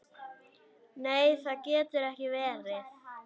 Nei, það getur ekki verið.